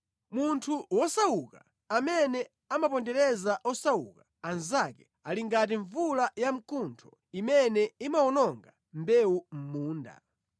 Munthu wosauka amene amapondereza osauka anzake ali ngati mvula yamkuntho imene imawononga mbewu mʼmunda.